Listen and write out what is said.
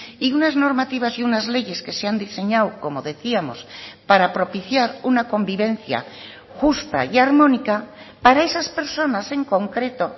y unas normativas y unas leyes que se han diseñado como decíamos para propiciar una convivencia justa y armónica para esas personas en concreto